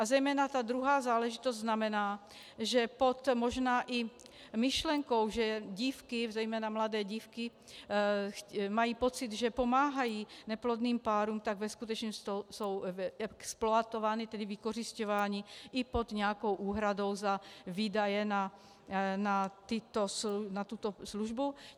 A zejména ta druhá záležitost znamená, že pod možná i myšlenkou, že dívky, zejména mladé dívky mají pocit, že pomáhají neplodným párům, tak ve skutečnost jsou exploatovány, tedy vykořisťovány, i pod nějakou úhradou za výdaje na tuto službu.